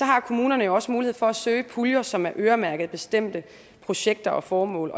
har kommunerne også mulighed for at søge puljer som er øremærket bestemte projekter og formål